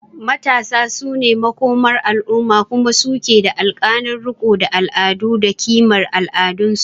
Matasa su ne makomar al’umma kuma su ke da alhakin riko da al’adu da kimar al’adunsu.